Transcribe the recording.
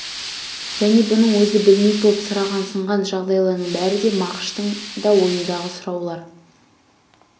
және бұның өзі білмек боп сұрағансыған жайларының бәрі де мағыштың да ойындағы сұраулар